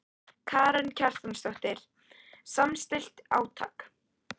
Karen Kjartansdóttir: Samstillt átak?